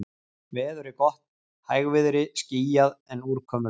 Veður er gott, hægviðri, skýjað, en úrkomulaust.